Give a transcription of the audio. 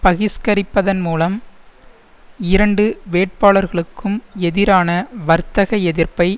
பகிஸ்கரிப்பதன்மூலம் இரண்டு வேட்பாளர்களுக்கும் எதிரான வர்த்தக எதிர்ப்பை